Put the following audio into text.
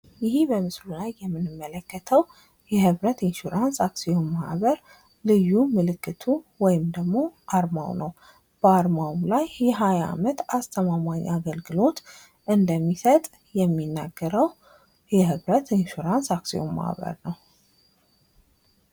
ይህ በምስሉ ላይ የምንመለከተው የህብረት ኢንሹራንሰ አክሲዮን ማህበር ልይ ምልክቱ ወይም ደግሞ አርማው ነው። በአርማውም ላይ የሃያ አመት አስተማማኝ አገልግሎት እንደሚሰጥ ነው የሚናገረው የህብረት ኢንሱራንሰ አክሲዮን ማህበር ነው።